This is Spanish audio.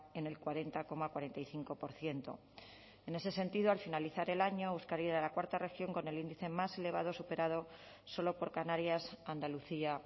en el cuarenta coma cuarenta y cinco por ciento en ese sentido al finalizar el año euskadi era la cuarta región con el índice más elevado superado solo por canarias andalucía